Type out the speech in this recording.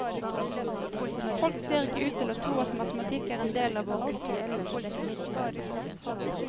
Folk ser ikke ut til å tro at matematikk er en del av vår kultur.